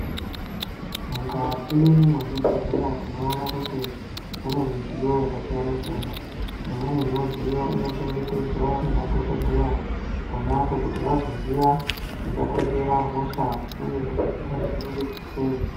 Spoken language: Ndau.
Mukati mwezvibhehlera tinoona kuti munemidziyo yakasiyana siyana .Imweni yemidziyo inochengetedzwa nemadhokoteya ponapo kuti vagoziva chingakonzera hosha uye kuti chinodzivirirwa sei.